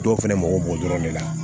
Dɔw fɛnɛ mago b'o dɔrɔn de la